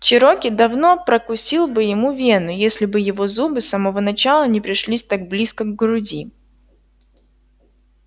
чероки давно прокусил бы ему вену если бы его зубы с самого начала не пришлись так близко к груди